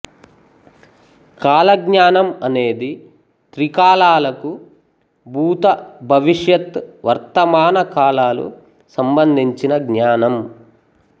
కాలజ్ఞానం అనేది త్రికాలాలకు భూత భవిష్యత్ వర్తమాన కాలాలు సంబంధించిన జ్ఞానం